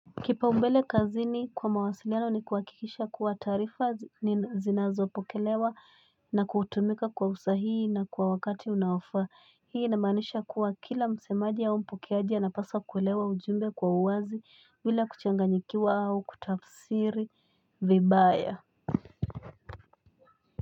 Kipau mbele kazini kwa mawasiliano ni kuhakikisha kuwa taarifa zinazo pokelewa na kutumika kwa usahii na kwa wakati unaofaa hii na inamaanisha kuwa kila msemaji au mpokeaji anapaswa kuelewa ujumbe kwa uwazi bila kuchanganyikiwa au kutafsiri vibaya.